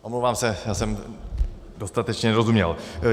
Omlouvám se, já jsem dostatečně nerozuměl.